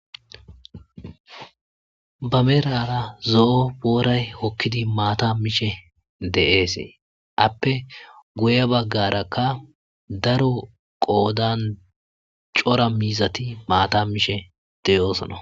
Ba merara zo'o booray hokkidi maata mishe de'esee appe guye baggarakka daro qoodan cora miizati maata mishe deyoosana.